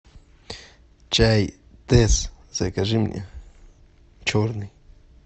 чай тесс закажи мне черный